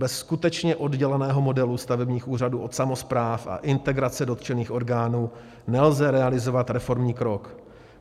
Bez skutečně odděleného modelu stavebních úřadů od samospráv a integrace dotčených orgánů nelze realizovat reformní krok.